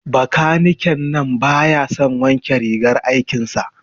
Bakaniken nan baya son wanke rigar aikin sa.